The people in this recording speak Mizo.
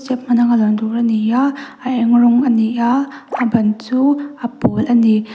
lang tur a ni a a eng rawng a ni a a ban chu a pawl a ni.